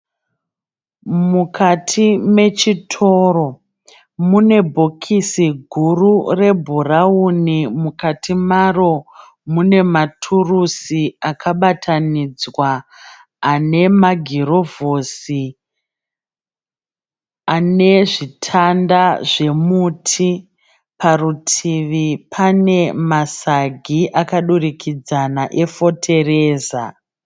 Mukati mechitoro mune bhokisi guru rebhurauni. Mukati maro mune ma turusi akabatanidzwa ane magirovhosi ane zvitanda zvemuti. Parutivi pane masagi akadurikidzana e fotereza.